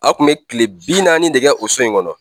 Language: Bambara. A kun bɛ tile bi naani de kɛ o so in kɔnɔ.